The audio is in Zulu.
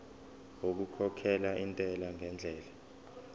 okukhokhela intela ngendlela